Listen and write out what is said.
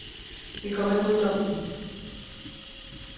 Vi kommer ikke uden om den.